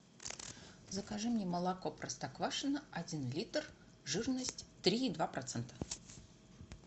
закажи мне молоко простоквашино один литр жирность три и два процента